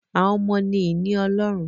Àwọn ọmọ ni ìní Ọlọ́run